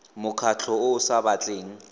mokgatlho o o sa batleng